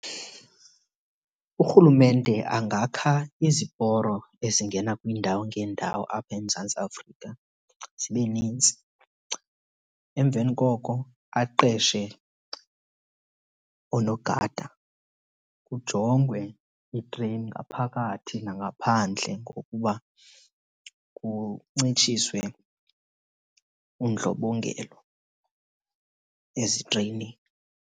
Urhulumente angakha iziporo ezingena kwiindawo ngeendawo apha eMzantsi Afrika zibe nintsi. Emveni koko aqeshe oonogada kujongwe iitreyini ngaphakathi nangaphandle ngokuba kuncitshiswe ubundlobongela ezitreyinini.